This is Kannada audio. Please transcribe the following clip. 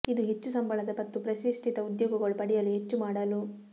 ಇದು ಹೆಚ್ಚು ಸಂಬಳದ ಮತ್ತು ಪ್ರತಿಷ್ಠಿತ ಉದ್ಯೋಗಗಳು ಪಡೆಯಲು ಹೆಚ್ಚು ಮಾಡಲು